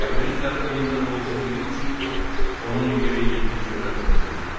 Qəlbinin dərinliyində də olsa bilir ki, onun yeri yeddinci mərtəbə deyil.